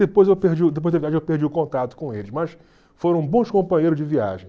Depois eu perdi o depois da viagem eu perdi o contato com eles, mas foram bons companheiros de viagem.